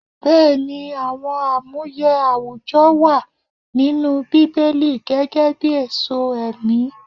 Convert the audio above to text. Bẹẹni, àwọn amuye àwùjọ wà nínú Bíbélì gẹ́gẹ́bí èso ẹ̀mí.